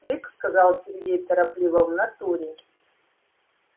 дык сказал сергей торопливо в натуре